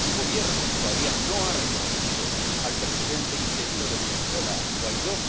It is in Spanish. Su Gobierno todavía no ha reconocido al presidente interino de Venezuela, el señor Guaidó.